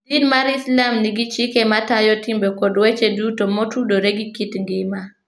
Din mar Islam nigi chike matayo timbe kod weche duto motudore gi kit ngima.